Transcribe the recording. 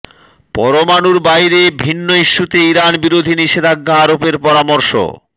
পরমাণুর বাইরে ভিন্ন ইস্যুতে ইরান বিরোধী নিষেধাজ্ঞা আরোপের পরামর্শ